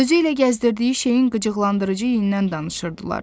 Özü ilə gəzdirdiyi şeyin qıcıqlandırıcı iyindən danışırdılar.